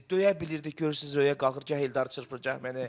Döyə bilirdik, görürsüz Röyə qalxır gah Eldarı çırpır, gah məni.